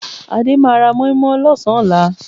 Adé máa ra mọ́ímọ́í lọ́sàn-án ọ̀la